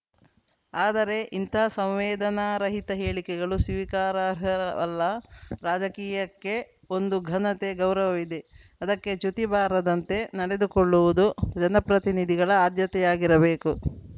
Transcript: ಆದರೆ ಇಂಥ ಸಂವೇದನಾರಹಿತ ಹೇಳಿಕೆಗಳು ಸ್ವೀಕಾರಾರ್ಹವಲ್ಲ ರಾಜಕೀಯಕ್ಕೆ ಒಂದು ಘನೆತೆ ಗೌರವಿದೆ ಅದಕ್ಕೆ ಚ್ಯುತಿ ಬಾರದಂತೆ ನಡೆದುಕೊಳ್ಳುವುದು ಜನಪ್ರತಿನಿಧಿಗಳ ಆದ್ಯತೆಯಾಗಿರಬೇಕು